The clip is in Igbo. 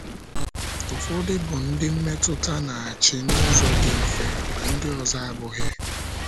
Ụfọdụ bụ ndị mmetụta na - achị n’ụzọ dị mfe, ma ndị ọzọ abụghị.